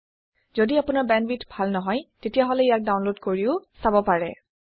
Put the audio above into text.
যদি আপোনাৰ বেণ্ডৱিডথ ভাল নহয় তেতিয়াহলে ইয়াক ডাউনলোড কৰিও চাব পাৰে